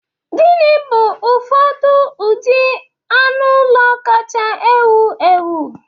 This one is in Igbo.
Gịnị bụ ụfọdụ ụdị anụ ụlọ kacha ewu ewu?